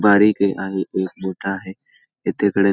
बारीके आहे एक मोठा आहे येथे कडेने--